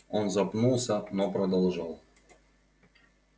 он запнулся но продолжал